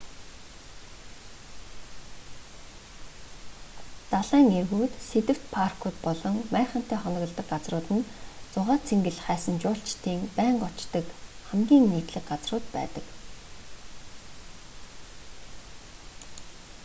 далайн эргүүд сэдэвт паркууд болон майхантай хоноглодог газрууд нь зугаа цэнгэл хайсан жуулчдын байнга очдог хамгийн нийтлэг газрууд байдаг